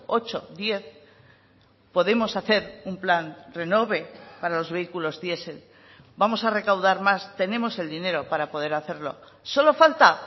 ocho diez podemos hacer un plan renove para los vehículos diesel vamos a recaudar más tenemos el dinero para poder hacerlo solo falta